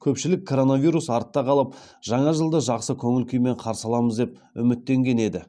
көпшілік коронавирус артта қалып жаңа жылды жақсы көңіл күймен қарсы аламыз деп үміттенген еді